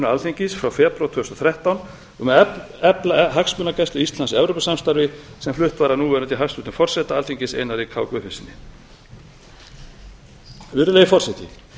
alþingis frá febrúar tvö þúsund og þrettán um að efla hagsmunagæslu íslands í evrópusamstarfi sem flutt var af núverandi hæstvirtum forseta alþingis einari k guðfinnssyni virðulegi forseti